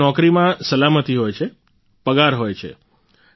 અરે નોકરીમાં સલામતી હોય છે પગાર હોય છે